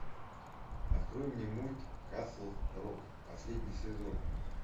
открой мне мульт касл рок последний сезон